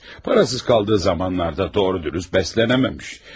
Pulsuz qaldığı vaxtlarda da düz-əməlli qidalana bilməyib.